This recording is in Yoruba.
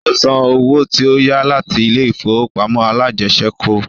Ó san owó tí ó yá láti ilé ìfowópamọ́ alájẹsẹ́kù